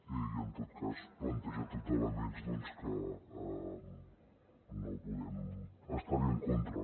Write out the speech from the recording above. i en tot cas planteja tot d’elements doncs que no podem estar hi en contra